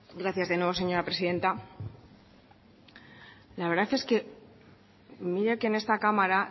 gracias de nuevo señora presidenta la verdad es que y mira que en esta cámara